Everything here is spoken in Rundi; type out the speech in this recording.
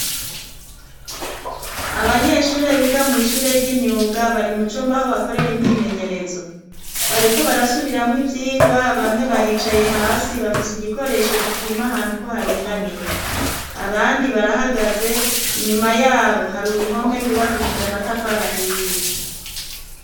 Abanyeshuri biga mu ishure ry'imyuga bari mu cumba ho bakorere imyimenyerezo, bariko barasubiramo ivyigwa bamwe baricaye hasi bafise igikoresho gipima ahantu ko haringaniye, abandi barahagaze, inyuma yabo hari uruhome rgubakishije amatafara ahiye.